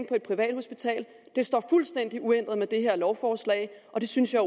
på et privathospital det står fuldstændig uændret med det her lovforslag og det synes jeg